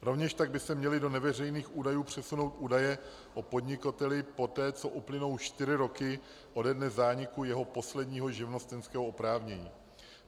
Rovněž tak by se měly do neveřejných údajů přesunout údaje o podnikateli poté, co uplynou čtyři roky ode dne zániku jeho posledního živnostenského oprávnění.